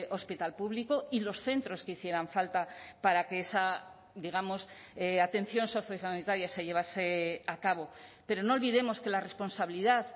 hospital público y los centros que hicieran falta para que esa digamos atención sociosanitaria se llevase a cabo pero no olvidemos que la responsabilidad